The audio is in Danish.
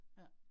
Ja